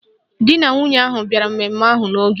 Di na nwunye ahụ bịara mmemme ahụ n'oge